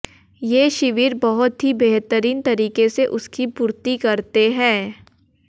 ये शिविर बहुत ही बेहतरीन तरीके से उसकी पूर्ति करते है